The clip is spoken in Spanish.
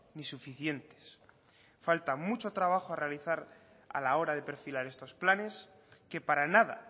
ni suficientes falta mucho trabajo a realizar a la hora de perfilar estos planes que para nada